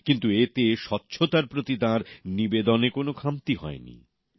কিন্তু এতে স্বচ্ছতার প্রতি তাঁর দায়বদ্ধতার কোন খামতি হয়নি